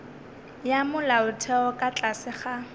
ya molaotheo ka tlase ga